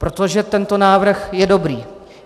Protože tento návrh je dobrý.